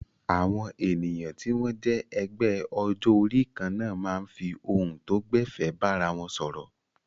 Àwọn ènìyàn tí wọ́n jẹ́ ẹgbẹ́ ọjọ́ orí kan náà máa ń fi ohun tó gbẹ̀fẹ̀ bára wọn sọ̀rọ̀.